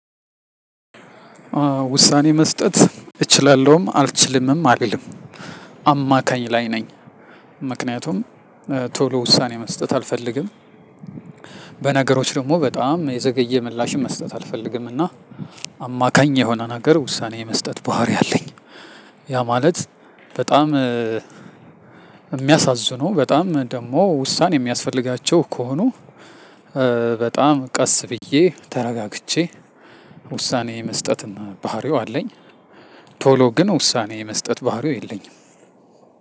ውሳኔ መስጠት እችላለሁም አልችልምም አልልም አማካኝ ላይ ነኝ። ምክንያቱም ቶሎ ውሳኔ መስጠት አልፈልግም። በነገሮች ደግሞ በጣም የዘገየ ምላሽም መስጠት አልፈልግም እና አማካኝ የሆነ ነገር ውሳኔ የመስጠት ባህሪ አለኝ። ያ ማለት በጣም የሚያሳዝኑ በጣም ደግሞ ውሳኔ የሚያስፈልጋቸው ከሆኑ በጣም ቀስ ብዬ ተረጋግቼ ውሳኔ የመስጠት ባህሪው አለኝ። ቶሎ ግን ውሳኔ የመስጠት ባህሪው የለኝም።